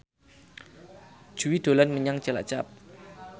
Jui dolan menyang Cilacap